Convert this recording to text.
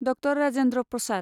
doctor Rajendra Prasad